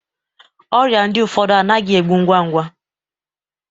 Ọrịa ndi ụfọdụ anaghị egbu ngwa ngwa